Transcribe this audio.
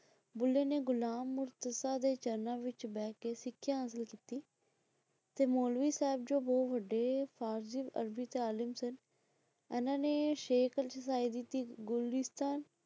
ਬੁੱਲੇ ਨੇ ਗੁਲਾਮ ਔਰ ਤੁਸਾਂ ਦੇ ਚਰਨਾਂ ਵਿੱਚ ਬਹਿਕੇ ਸਿੱਖਿਆ ਹਾਸਲ ਕੀਤੀ ਤੇ ਮੌਲਵੀ ਸਾਹਿਬ ਜੋ ਬਹੁਤ ਵੱਡੇ ਫ਼ਾਰਸੀ ਅਰਬੀ ਦੇ ਤਾਲਿਮ ਸਨ ਇਹਨਾਂ ਨੇ ਸ਼ੇਖ